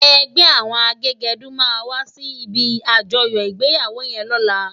Ègbè áwòn àgégèdú má wàsí ibi ájòyò igbéyáwó yèn lòlá